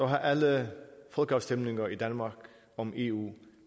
har alle folkeafstemninger i danmark om eu